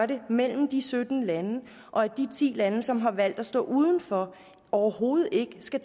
det mellem de sytten lande og at de ti lande som har valgt at stå uden for overhovedet ikke skal